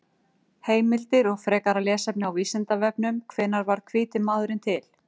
Heimildir og frekara lesefni á Vísindavefnum: Hvenær varð hvíti maðurinn til?